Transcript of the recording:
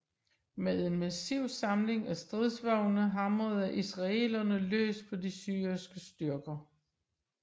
Med en massiv samling af stridsvogne hamrede israelerne løs på de syriske styrker